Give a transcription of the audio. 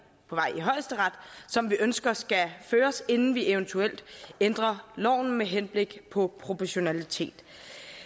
højesteret som vi ønsker skal føres inden vi eventuelt ændrer loven med henblik på proportionalitet